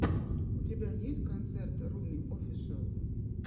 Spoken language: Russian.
у тебя есть концерт руми офишэл